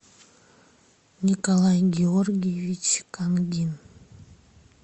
николай георгиевич кангин